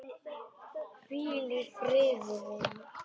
Hvíl í friði vinur.